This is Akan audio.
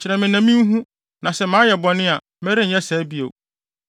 Kyerɛ me na minhu; na sɛ mayɛ bɔne a, merenyɛ saa bio.’